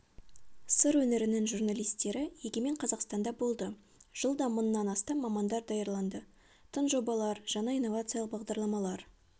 сыр өңірінің журналистері егемен қазақстанда болды жылда мыңнан астам мамандар даярланды тың жобалар жаңа инновациялық бағдарламалар